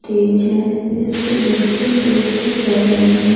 Stage है जिस पे बच्चे नृत्य कर रहे हैं ।